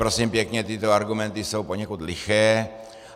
Prosím pěkně, tyto argumenty jsou poněkud liché.